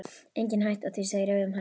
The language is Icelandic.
Engin hætta á því, segir Eva um hæl.